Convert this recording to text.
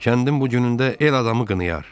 Kəndin bu günündə el adamı qınayar.